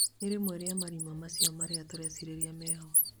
Na rĩmwe rĩa marima macio mairũ turecirĩria meho